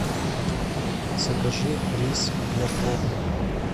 закажи рис для плова